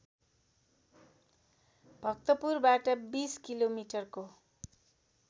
भक्तपुरबाट २० किलोमिटरको